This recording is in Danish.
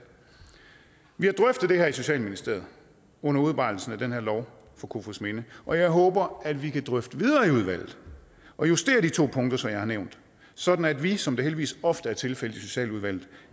vi har drøftet det her i socialministeriet under udarbejdelsen af den her lov for kofoedsminde og jeg håber at vi kan drøfte videre i udvalget og justere de to punkter som jeg har nævnt sådan at vi som det heldigvis ofte er tilfældet i socialudvalget